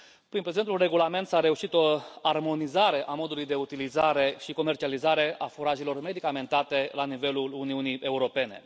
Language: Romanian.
Prin prezentul regulament s a reușit o armonizare a modului de utilizare și comercializare a furajelor medicamentate la nivelul Uniunii Europene.